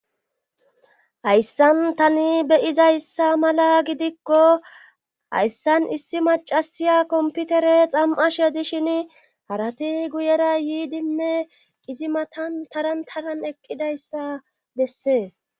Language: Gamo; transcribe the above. hayssan tani beyizayssa mala gidikko hayssan issi macasiya komputere xam7ashe dishin harati guyera yiidinne izi matan tarantaran eqqidayssa bessees